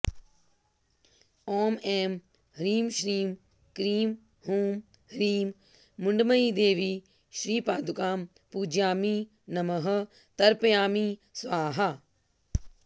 ॐ ऐं ह्रीं श्रीं क्रीं हूं ह्रीं मुण्डमयीदेवी श्रीपादुकां पूजयामि नमः तर्पयामि स्वाहा